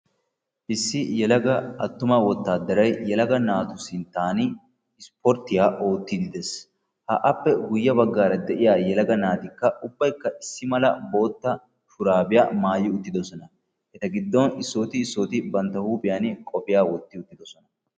issi yelaga attuma wottadaray yelaga naatu sinttan ispporttiyaa oottide de'ees; ha appe guyye baggara de'iyaa yelaga naatikka ubbaykka bootta shurabiyaa maayyi uttidoosona; eta giddon issoti issoti bantta huuphiyaan qophiyaa wotti uttidoosona